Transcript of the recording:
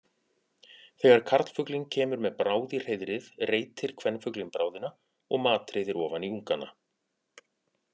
Þegar karlfuglinn kemur með bráð í hreiðrið reitir kvenfuglinn bráðina og matreiðir ofan í ungana.